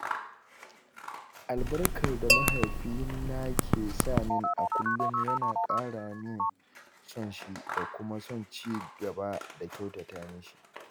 Albarkar da mahaifi na ke samin a kullum yana ƙara min son shi da kuma son cigaba da kyautata mishi.